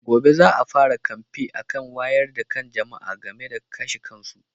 Gobe za a fara kamfen akan wayar da kan jama'a game da kashe kansu.